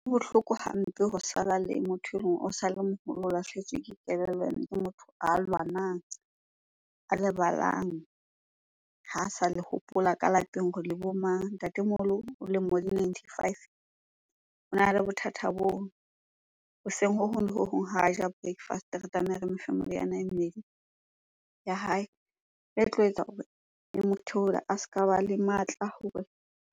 Ho bohloko hampe ho sala le motho eleng o sa le moholo, o lahlehetswe ke kelellong ke motho a lwanang, a lebalang, ha sa le hopola ka lapeng hore le bo mang? Ntatemoholo o lemo di ninety- five, o na le bothata boo. Hoseng ho hong le ho hong ha ja breakfast-e re tlameha re mofe meriana e mmedi ya hae e tlo etsa hore e mo a se ka ba le matla a hore